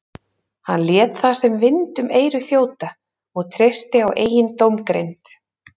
Hann lét það sem vind um eyru þjóta og treysti á eigin dómgreind.